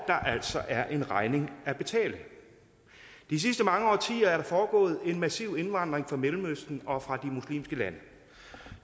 altså er en regning at betale de sidste mange årtier er der foregået en massiv indvandring fra mellemøsten og fra de muslimske lande